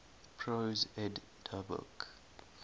prose edda book